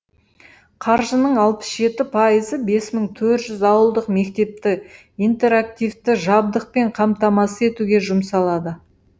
қаржының алпыс жеті пайызы бес мың төрт жүз ауылдық мектепті интерактивті жабдықпен қамтамасыз етуге жұмсалады